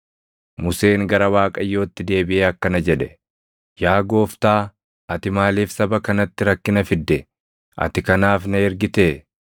Museen gara Waaqayyootti deebiʼee akkana jedhe; “Yaa Gooftaa, ati maaliif saba kanatti rakkina fidde? Ati kanaaf na ergitee?